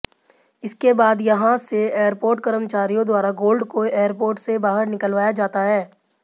इसके बाद यहां से एयरपोर्ट कर्मचारियों द्वारा गोल्ड को एयरपोर्ट से बाहर निकलवाया जाता है